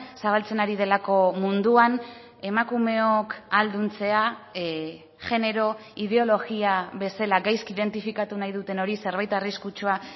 zabaltzen ari delako munduan emakumeok ahalduntzea jenero ideologia bezala gaizki identifikatu nahi duten hori zerbait arriskutsua